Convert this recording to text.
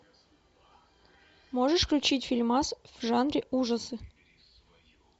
можешь включить фильмас в жанре ужасы